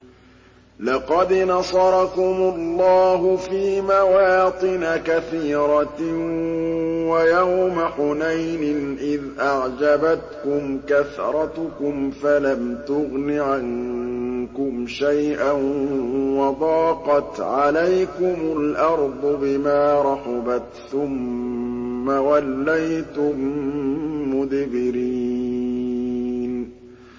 لَقَدْ نَصَرَكُمُ اللَّهُ فِي مَوَاطِنَ كَثِيرَةٍ ۙ وَيَوْمَ حُنَيْنٍ ۙ إِذْ أَعْجَبَتْكُمْ كَثْرَتُكُمْ فَلَمْ تُغْنِ عَنكُمْ شَيْئًا وَضَاقَتْ عَلَيْكُمُ الْأَرْضُ بِمَا رَحُبَتْ ثُمَّ وَلَّيْتُم مُّدْبِرِينَ